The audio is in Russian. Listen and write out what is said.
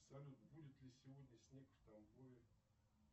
салют будет ли сегодня снег в тамбове